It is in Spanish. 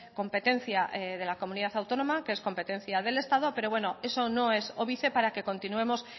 competencia de la comunidad autónoma que es competencia del estado pero bueno eso no es óbice para que continuemos